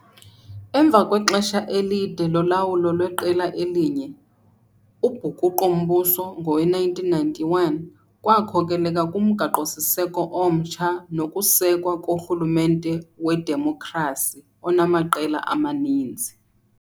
Emva kwexesha elide lolawulo lweqela elinye, ubhukuqo-mbuso ngowe-1991 lwakhokelela kumgaqo-siseko omtsha nokusekwa korhulumente wedemokhrasi, onamaqela amaninzi.